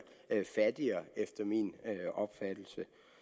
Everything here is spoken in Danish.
fattigere efter min opfattelse